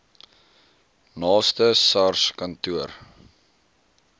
naaste sars kantoor